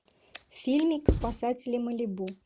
фильмик спасатели малибу